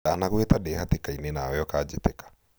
ndanagũĩta ndĩ hatĩkainĩ nawe ũkanjiĩtĩka